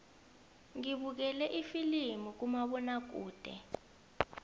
ngibukele ifilimu kumabonakude